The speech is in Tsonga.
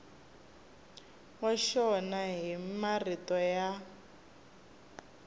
wa xona hi marito ya